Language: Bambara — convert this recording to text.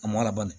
A m'a labari